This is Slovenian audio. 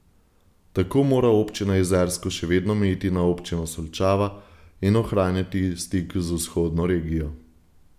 Tako mora občina Jezersko še vedno mejiti na občino Solčava in ohranjati stik z vzhodno regijo.